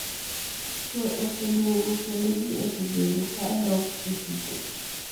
Kwe oseduogo kendo ji osebedo ka dok e tich.